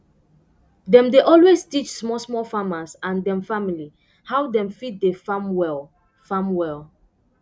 dem dey always teach small small farmers and dem family how dem fit dey farm well farm well